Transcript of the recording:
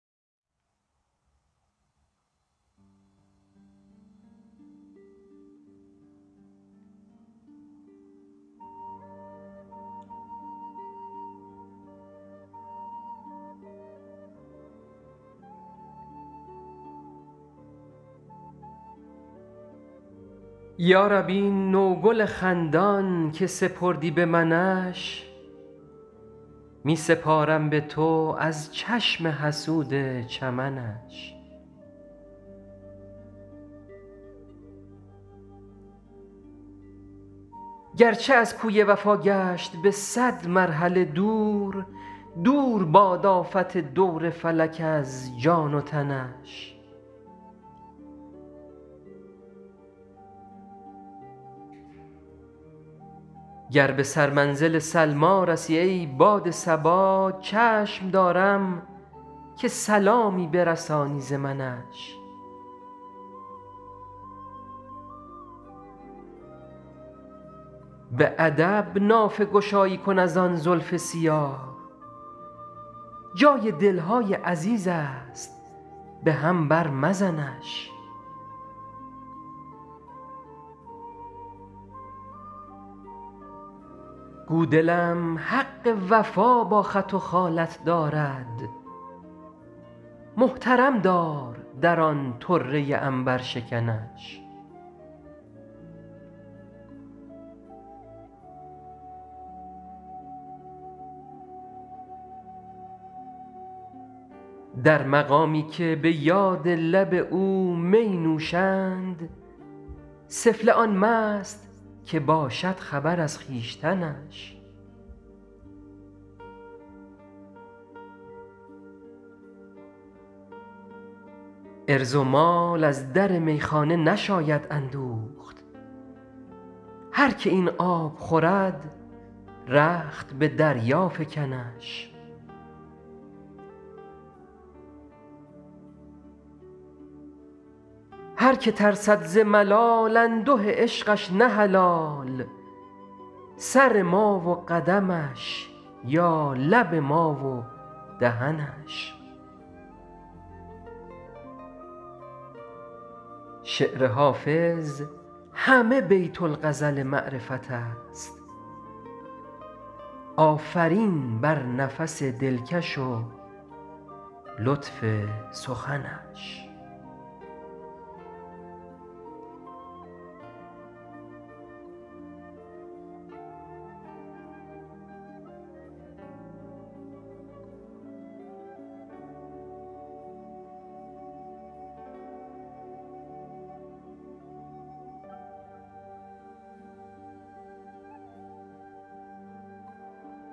یا رب این نوگل خندان که سپردی به منش می سپارم به تو از چشم حسود چمنش گرچه از کوی وفا گشت به صد مرحله دور دور باد آفت دور فلک از جان و تنش گر به سرمنزل سلمی رسی ای باد صبا چشم دارم که سلامی برسانی ز منش به ادب نافه گشایی کن از آن زلف سیاه جای دل های عزیز است به هم بر مزنش گو دلم حق وفا با خط و خالت دارد محترم دار در آن طره عنبرشکنش در مقامی که به یاد لب او می نوشند سفله آن مست که باشد خبر از خویشتنش عرض و مال از در میخانه نشاید اندوخت هر که این آب خورد رخت به دریا فکنش هر که ترسد ز ملال انده عشقش نه حلال سر ما و قدمش یا لب ما و دهنش شعر حافظ همه بیت الغزل معرفت است آفرین بر نفس دلکش و لطف سخنش